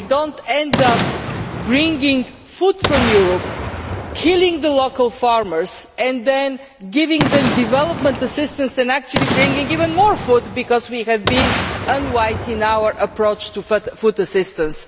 We do not end up bringing food from Europe, killing the livelihoods of local farmers and then giving them development assistance and actually bringing even more food because we have been unwise in our approach to food assistance.